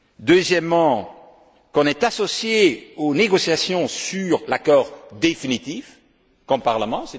Deuxièmement, que l'on soit associé aux négociations sur l'accord définitif, comme parlement.